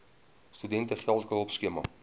studente geldelike hulpskema